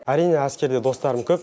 әрине әскерде достарым көп